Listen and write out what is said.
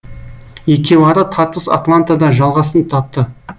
екеуара тартыс атлантада жалғасын тапты